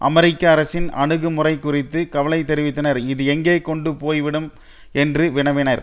அமெரிக்க அரசின் அணுகு முறை குறித்து கவலை தெரிவித்தனர் இது எங்கே கொண்டு போய்விடும் என்று வினவினர்